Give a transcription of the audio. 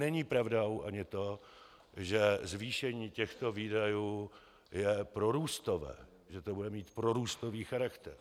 Není pravdou ani to, že zvýšení těchto výdajů je prorůstové, že to bude mít prorůstový charakter.